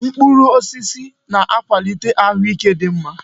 Mkpụrụ osisi na-akwalite ahụike dị mma.